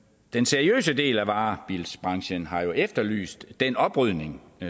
den seriøse del af varebilsbranchen har jo efterlyst den oprydning